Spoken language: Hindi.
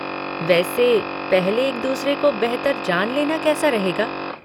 वैसे पहले एक दूसरे को बेहतर जान लेना कैसा रहेगा?